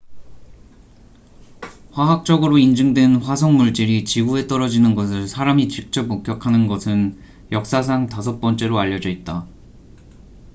화학적으로 인증된 화성 물질이 지구에 떨어지는 것을 사람이 직접 목격하는 것은 역사상 다섯 번째로 알려져 있다